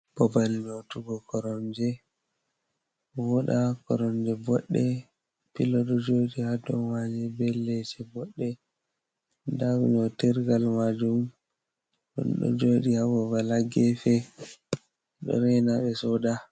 Babal nyootugo koromje, vooɗa. Koromje boɗɗe, pilo ɗo jooɗi ha dou maaje, be leese boɗɗe. Nda nyootirgal maajum, ɗum ɗo jooɗi ha babal ha gefe, ɗo reena ɓe sooda.